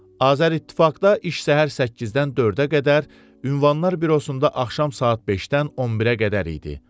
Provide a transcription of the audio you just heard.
Azərİttifaqda iş səhər 8-dən 4-ə qədər, Ünvanlar Bürosunda axşam saat 5-dən 11-ə qədər idi.